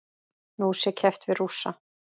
Nú sé keppt við Rússa.